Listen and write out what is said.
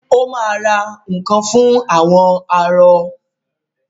ó ma ra nǹkan fún “ àwọn arọ ”.